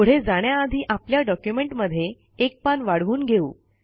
पुढे जाण्याआधी आपल्या डॉक्युमेंट मध्ये एक पान वाढवून घेऊ